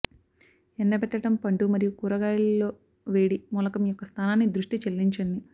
ఎండబెట్టడం పండు మరియు కూరగాయలు లో వేడి మూలకం యొక్క స్థానాన్ని దృష్టి చెల్లించండి